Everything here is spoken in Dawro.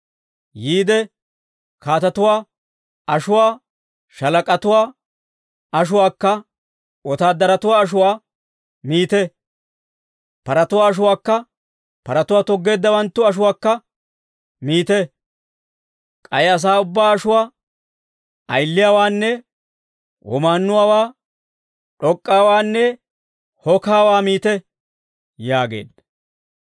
Yiide kaatatuwaa ashuwaa, shaalak'atuwaa ashuwaakka wotaadaratuwaa ashuwaa miite; paratuwaa ashuwaakka paratuwaa toggeeddawanttu ashuwaakka miite; k'ay asaa ubbaa ashuwaa ayiliyawaanne womaannuwaa, d'ok'k'aawaanne hokaawaa miite» yaageedda.